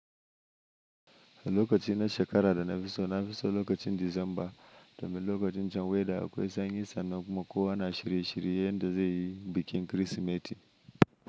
Lokacin na shakara da na fi so, na fi so lokacin Disamba, domin lokacin can weather akwai sanyi sannan kuma kowa na shirye shiryen yanda ze yi bikin Kirsimeti.